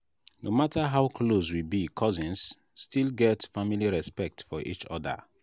no matter how close we be cousins still get family respect for each other.